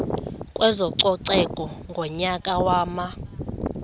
kwezococeko ngonyaka wama